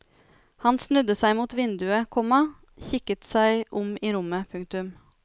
Han snudde seg mot vinduet, komma kikket seg om i rommet. punktum